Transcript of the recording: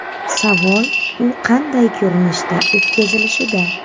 Savol u qanday ko‘rinishda o‘tkazilishida.